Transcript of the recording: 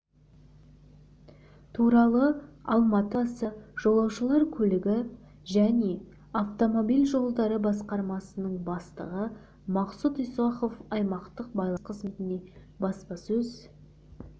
туралыалматы қаласы жолаушылар көлігі және автомобиль жолдары басқармасының бастығы мақсұт исахов аймақтық байланыс қызметіндегі баспасөз